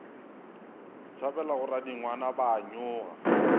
tšhabela ga radingwana ba nyoga